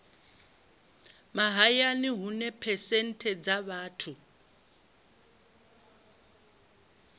mahayani hune phesenthe dza vhathu